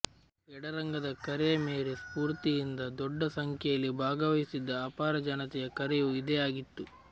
ಎಡರಂಗದ ಕರೆಯ ಮೇರೆ ಸ್ಪೂರ್ತಿಯಿಂದ ದೊಡ್ಡ ಸಂಖ್ಯೆಯಲ್ಲಿ ಭಾಗವಹಿಸಿದ್ದ ಆಪಾರ ಜನತೆಯ ಕರೆಯೂ ಇದೇ ಆಗಿತ್ತು